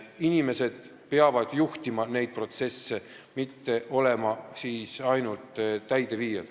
Inimesed peavad neid protsesse juhtima, mitte olema ainult täideviijad.